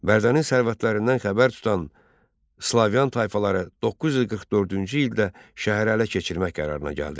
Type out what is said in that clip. Bərdənin sərvətlərindən xəbər tutan Slavyan tayfaları 944-cü ildə şəhəri ələ keçirmək qərarına gəldilər.